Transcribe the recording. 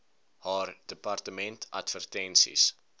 haar departement advertensies